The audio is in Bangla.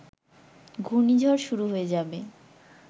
ঘুর্ণিঝড় শুরু হয়ে যাবে